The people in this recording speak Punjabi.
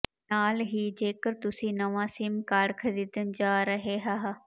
ਨਾਲ ਹੀ ਜੇਕਰ ਤੁਸੀਂ ਨਵਾਂ ਸਿਮ ਕਾਰਡ ਖਰੀਦਣ ਜਾ ਰਹੇ ਹ